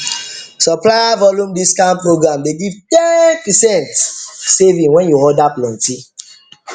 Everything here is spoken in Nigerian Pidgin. supplier volume discount program dey give ten percent saving when you order plenty